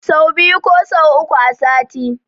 Sau biyu ko sau uku a sati